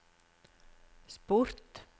sport